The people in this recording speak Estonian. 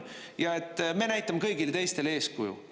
Ja et me näitame kõigile teistele eeskuju.